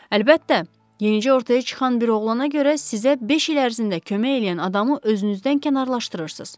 Əlbəttə, yenicə ortaya çıxan bir oğlana görə sizə beş il ərzində kömək eləyən adamı özünüzdən kənarlaşdırırsız.